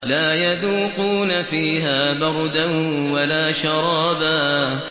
لَّا يَذُوقُونَ فِيهَا بَرْدًا وَلَا شَرَابًا